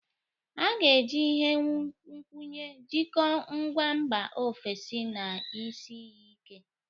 A ga-eji ihe nkwụnye jikọọ ngwa mba ofesi na isi iyi ike.